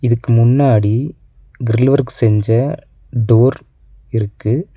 இதுக்கு முன்னாடி grill work செஞ்ச டோர் இருக்கு.